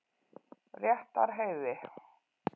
Réttarheiði